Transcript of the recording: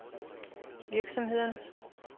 virksomhederne